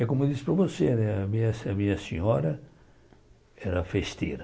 É como eu disse para você né, a a minha senhora era festeira.